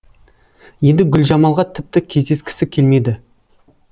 енді гүлжамалға тіпті кездескісі келмеді